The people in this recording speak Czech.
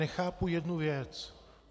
Nechápu jednu věc.